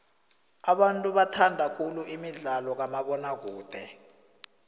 abantu bathanda khulu imidlalo kamabona kude